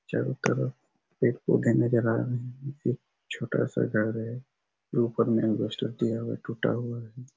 चारों तरफ पेड़-पौधे नज़र आ रहे है एक छोटा सा घर है ऊपर में अलबेस्टर दिया हुआ हैं टुटा हुआ है।